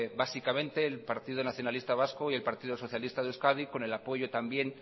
básicamente el partido nacionalista vasco y el partido socialista de euskadi con el apoyo también